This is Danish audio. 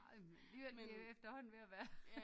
Nej men alligevel det er efterhånden ved at være